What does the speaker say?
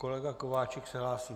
Kolega Kováčik se hlásí?